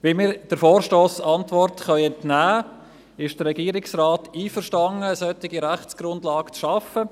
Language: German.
Wie wir der Vorstossantwort entnehmen können, ist der Regierungsrat einverstanden, eine solche Rechtsgrundlage zu schaffen.